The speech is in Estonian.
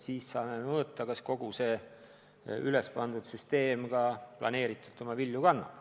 Siis saame mõõta, kas kogu see ülesehitatud süsteem ka planeeritult vilju kannab.